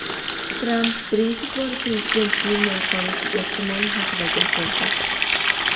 Tramp birinchi bor prezident bo‘lmay qolishi ehtimoli haqida gapirdi.